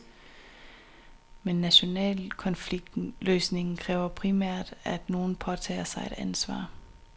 Men international konfliktløsning kræver primært, at nogen påtager sig et ansvar.